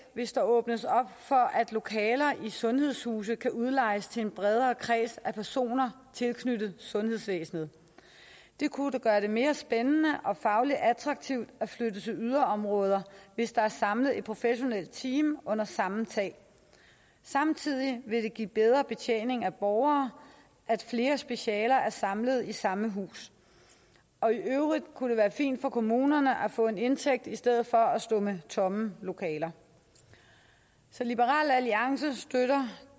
hvis der åbnes op for at lokaler i sundhedshuse kan udlejes til en bredere kreds af personer tilknyttet sundhedsvæsenet det kunne gøre det mere spændende og fagligt attraktivt at flytte til yderområder hvis der er samlet et professionelt team under samme tag samtidig vil det give bedre betjening af borgere at flere specialer er samlet i samme hus og i øvrigt kunne det være fint for kommunerne at få en indtægt i stedet for at stå med tomme lokaler så liberal alliance støtter